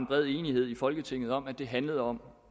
bred enighed i folketinget om at det handlede om